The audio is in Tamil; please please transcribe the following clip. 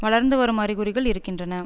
வளர்ந்து வரும் அறிகுறிகள் இருக்கின்றன